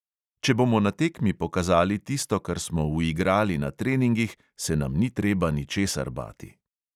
Če bomo na tekmi pokazali tisto, kar smo uigrali na treningih, se nam ni treba ničesar bati.